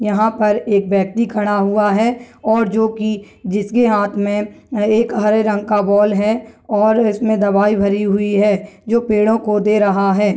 यहां पर एक व्यक्ति खड़ा हुआ है और जो की जिसके हाथ मे एक हरे रंग का बॉल है और इसमे दवाई भरी हुई है जो पेड़ों को दे रहा है।